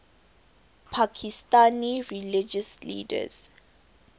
pakistani religious leaders